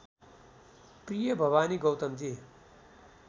प्रिय भवानी गौतमजी